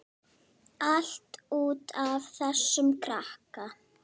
Allt út af þessum krakka.